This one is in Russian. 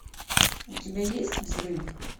у тебя есть взрыв